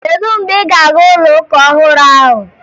Kedu mgbe ị́ ga-aga ụlọụka ọhụrụ ahụ?